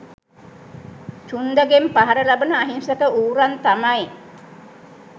චුන්දගෙන් පහර ලබන අහිංසක ඌරන් තමයි.